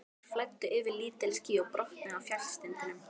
Þeir flæddu yfir lítil ský og brotnuðu á fjallstindum.